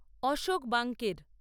অশোক ব্যাঙ্কের